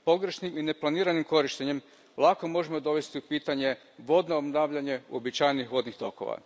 Pogrešnim i neplaniranim korištenjem lako možemo dovesti u pitanje vodno obnavljanje uobičajenih vodnih tokova.